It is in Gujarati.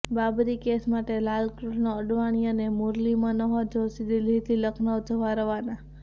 બાબરી કેસ માટે લાલકૃષ્ણ અડવાણી અને મુરલી મનોહર જોષી દિલ્હીથી લખનઉ જવા રવાના